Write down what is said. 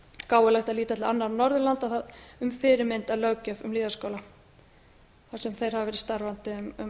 gáfulegt að líta til annarra norðurlanda um fyrirmynd að löggjöf um lýðháskóla þar sem þeir hafa verið starfandi um